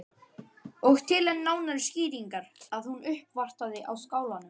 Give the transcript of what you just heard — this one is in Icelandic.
Og til enn nánari skýringar að hún uppvartaði á Skálanum.